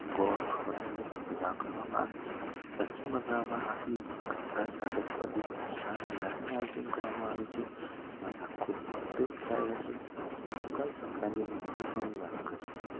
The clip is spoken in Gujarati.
ગોળ ખવડાવીને સેવા કરવામાં આવે છે પચિમ બંગાલ માં આ દિવસે ગંગા સાગર પર એક આયોજન કરવામાં આવે છે જેમાં ખુબ ભક્તો આવે છે મકર સંક્રાંતિની મહત્વની વાત કરીશુ